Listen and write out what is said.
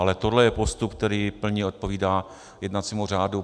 Ale toto je postup, který plně odpovídá jednacímu řádu.